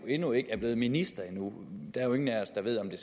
endnu ikke er blevet minister og der er jo ingen af os der ved om det